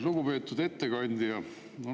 Lugupeetud ettekandja!